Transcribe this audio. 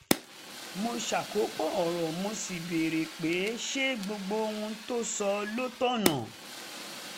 mo ṣàkópọ̀ ọ̀rọ̀ mo sì béèrè pé ṣé gbogbo ohun tó sọ ló tọ́nà